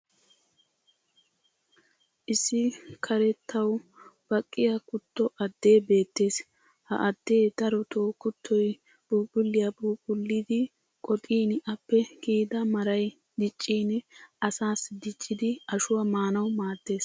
issi karettawu baqqiya kutto addee beetees. ha addee darotoo kuttoy phuuphuliya phuuphphullidi qoxxin appe kiyidda maray diccin asaassi diccidi ashuwaa maanawu maadees.